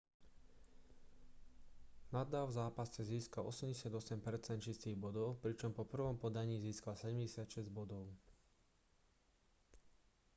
nadal v zápase získal 88 % čistých bodov pričom po prvom podaní získal 76 bodov